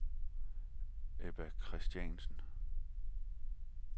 Ebba Kristiansen